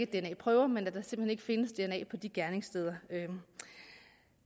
dna prøver men at der simpelt hen ikke findes dna på de gerningssteder